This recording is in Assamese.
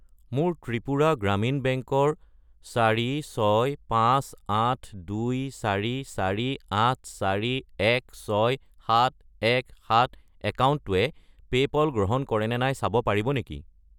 মোৰ ত্ৰিপুৰা গ্ৰামীণ বেংক ৰ 46582448416717 একাউণ্টটোৱে পে'পল গ্ৰহণ কৰে নে নাই চাব পাৰিব নেকি?